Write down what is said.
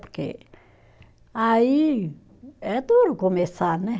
Porque aí é duro começar, né?